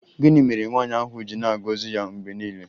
Gịnị mere nwaanyị ahụ ji na-agọzi ya mgbe niile?